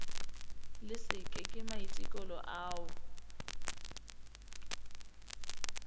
le se ke maiteko ao